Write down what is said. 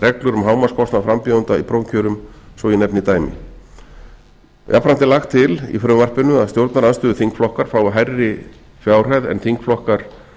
reglur um hámarkskostnað frambjóðenda í prófkjörum svo ég nefni dæmi jafnframt er lagt til í frumvarpinu að stjórnarandstöðuþingflokkar fái hærri fjárhæð en þingflokkar